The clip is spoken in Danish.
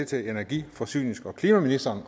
til er energi forsynings og klimaministeren